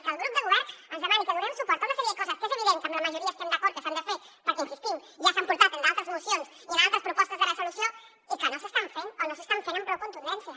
que el grup del govern ens demani que donem suport a una sèrie de coses que és evident que la majoria estem d’acord que s’han de fer perquè hi insistim ja s’han portat en d’altres mocions i en altres propostes de resolució i que no s’estan fent o no s’estan fent amb prou contundència